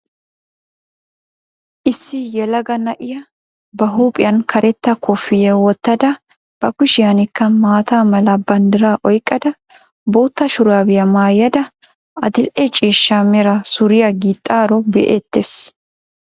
Issi yelaga na'iyaa ba huuphphiyaan karetta koofiyaa woottada ba kushshiyankka mata mala banddiraa oyqqada bootta shuraabiyaa maayada adil"e ciishsha mera suriyaa gixxaaro be'ttees.